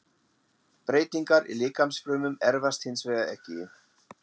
Breytingar í líkamsfrumum erfast hins vegar ekki.